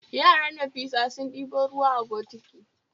Yaran Nafisa sun ɗebo ruwa a bokiti